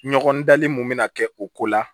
Ɲɔgɔn dali mun bɛna kɛ o ko la